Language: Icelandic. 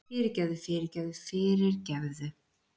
Fyrirgefðu fyrirgefðu fyrirgefðu!